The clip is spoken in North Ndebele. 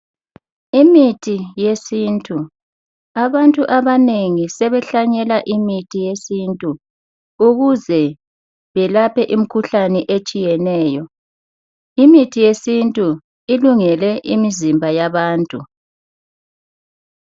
Imithi yesintu, abantu abanengi sebehlanyela imithi yesintu ukuze belaphe imkhuhlane etshiyeneyo. Imithi yesintu ilungele imizimba yabantu.